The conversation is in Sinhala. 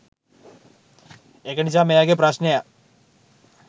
ඒක නිසා මේ වගේ ප්‍රශ්නයක්